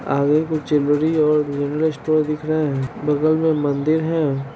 आगे कुछ ज्वेलरी और जनरल स्टोर दिख रहा है| बगल मे मंदिर है।